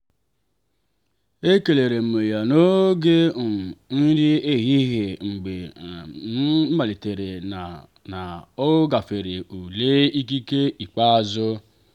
ekelere m ya n'oge um nri ehihie mgbe m matara na na ọ gafere ule ikike ikpeazụ.